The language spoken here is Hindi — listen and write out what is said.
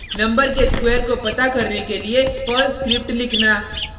नंबर के स्क्वेर को पता करने के लिए पर्ल स्क्रिप्ट लिखना